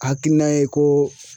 Hakilina ye ko.